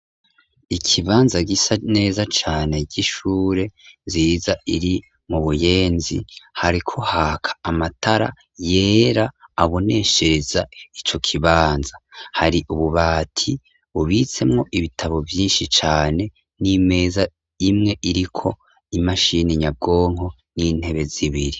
Ikibanza gisa neza cane ry'ishure nzira iri mubuyenzi hariko haka amatara yera aboneshereza ico kibanza hari ububati bubitsemwo ibitabo vyinshi cane n'imeza imwe iriko imashini nyabwonko n'intebe zibiri.